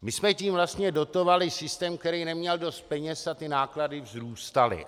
My jsme tím vlastně dotovali systém, který neměl dost peněz, a ty náklady vzrůstaly.